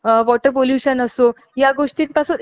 तो नेक्ट जनरेशनला जर भोगू द्यायचा नसेल